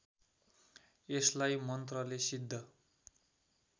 यसलाई मन्त्रले सिद्ध